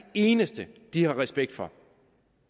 eneste de har respekt for